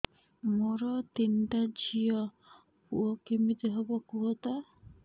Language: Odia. ମୋର ତିନିଟା ଝିଅ ପୁଅ କେମିତି ହବ କୁହତ